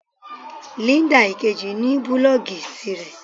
Linda Ìkejì ní búlòògì tirẹ̀.